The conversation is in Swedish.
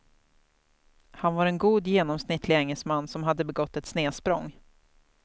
Han var en god genomsnittlig engelsman som hade begått ett snedsprång.